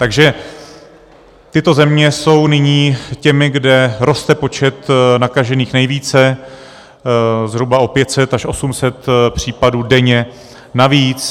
Takže tyto země jsou nyní těmi, kde roste počet nakažených nejvíce, zhruba o 500 až 800 případů denně navíc.